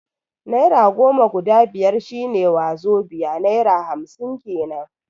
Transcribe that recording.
Naira goma guda biyar shi ne wazobai (naira hamsin kenan)